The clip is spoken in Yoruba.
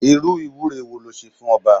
Irú ìwúre wo le ṣe fún ọba?